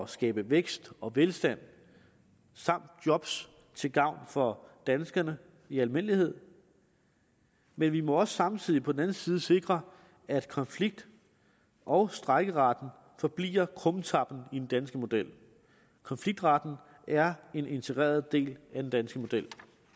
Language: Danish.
skabe vækst og velstand samt job til gavn for danskerne i almindelighed men vi må også samtidig på den anden side sikre at konflikt og strejkeretten forbliver krumtappen i den danske model konfliktretten er en integreret del af den danske model